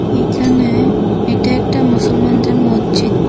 এইখানে এটা একটা মুসলমানদের মজ্জিত।